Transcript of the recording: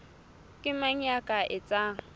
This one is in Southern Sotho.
ke mang ya ka etsang